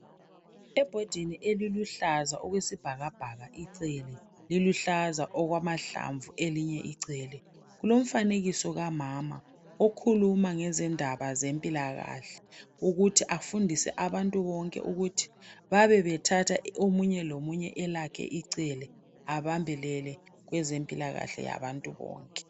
Ebhodini eliluhlaza okwesibhakabhaka icele liluhlaza okwamahlamvu elinye icele kulomfanekiso kamama okhuluma ngezindaba zempilakahle ukuthi afundise abantu bonke ukuthi babe bethatha omunye lomunye elakhe icele abambelele kwezempilakahle yabantu bonke.